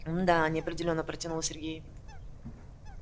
м-да неопределённо протянул сергей